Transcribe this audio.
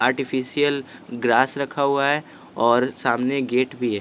Artificial grass रखा हुआ है और सामने गेट भी है।